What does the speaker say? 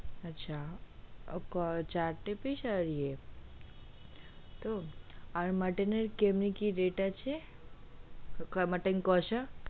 আচ্ছা চার টা piece আর ইয়া ত আর মটন এর কেমনি কি rate আছে মটন কোষা?